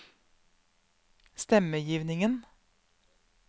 stemmegivningen